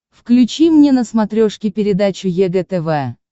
включи мне на смотрешке передачу егэ тв